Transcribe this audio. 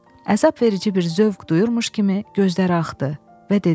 Əzabverici bir zövq duyurmuş kimi gözləri axdı və dedi: